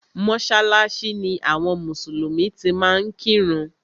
Mọ́sálásí ni àwọn mùsùlùmí ti máa ń kírun.